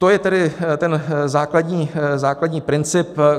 To je tedy ten základní princip.